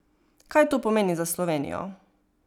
Kaj to pomeni za Slovenijo?